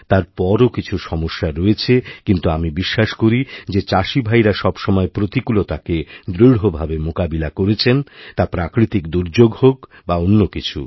তারপরও কিছু সমস্যা রয়েছেকিন্তু আমি বিশ্বাস করি যে চাষিভাইরা সবসময় প্রতিকূলতাকে দৃঢ়ভাবে মোকাবিলাকরেছেন তা প্রাকৃতিক দুর্যোগ হোক বা অন্য কিছু